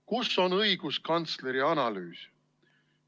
Kus on õiguskantsleri analüüs?